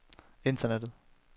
internettet